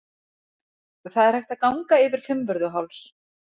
Það er hægt að ganga yfir Fimmvörðuháls.